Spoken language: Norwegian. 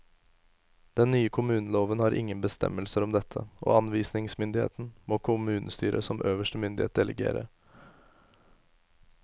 Den nye kommuneloven har ingen bestemmelser om dette, og anvisningsmyndigheten må kommunestyret som øverste myndighet delegere.